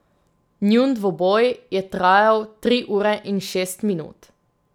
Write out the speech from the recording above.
Njun dvoboj je trajal tri ure in šest minut.